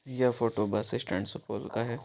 यह photo bus stand Supaul का है।